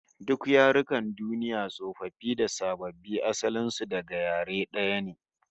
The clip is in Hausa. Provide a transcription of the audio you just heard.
Duk yarukan duniya tsofaffi da sababbi, asalin su daga yare daya ne